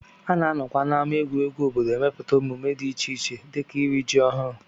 A na-anọkwa n'ámá egwuregwu obodo emepụta emume dị iche iche dịka iri ji ọhụrụ